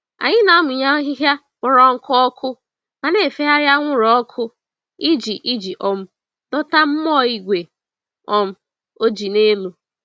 Anyị na-amụnye ahịhịa kpọrọ nkụ ọkụ, ma na-efegharị anwụrụ ọkụ iji iji um dọta mmụọ igwe um ojii n'elu.